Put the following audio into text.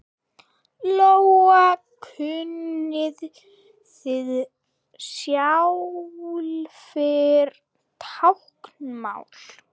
Lóa: Kunnið þið sjálfir táknmál?